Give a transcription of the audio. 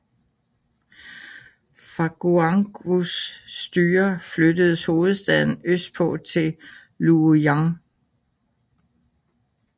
Fra Guangwus styre flyttedes hovedstaden østpå til Luoyang